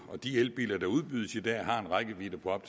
de elbiler der udbydes i dag har en rækkevidde på